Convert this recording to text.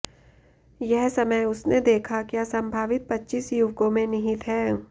यह समय उसने देखा क्या संभावित पच्चीस युवकों में निहित है